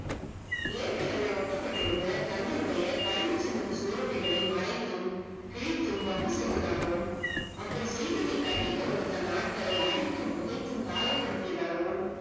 ஏற்க்கனவே ஒட்டப்பட்டிருந்த தங்களுடைய கைது சின்னத்து சுவரொட்டிகளை மறைத்தும், கிழித்தும் வம்பு செய்ததாகவும், அப்படி செய்ததை கண்டிக்க வந்த தன் ஆட்களை அடித்தும், உதைத்தும், காயப்படுத்தியதாகவும்